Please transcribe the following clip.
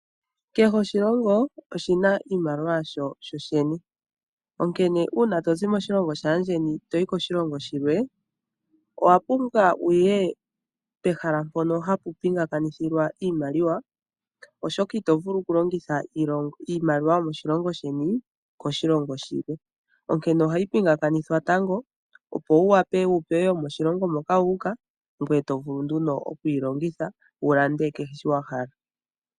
Oshilongo kehe oshina iimaliwa yasho sho shene, oonkene uuna tozi moshilongo shaandjeni toyi koshilongo shilwe, owa pumbwa wuye pehala mpoka hapu pinganganithilwa iimaliwa oshoka ito vulu oku longitha iimaliwa yomoshilongo sheni, koshilongo shilwe, onkene ohayi pinganganithwa tango opo wu wape wu pewe yomoshilongo moka wuuka, ngwe to vulu nduno okuyi longitha wulanden kehe shoka wahala.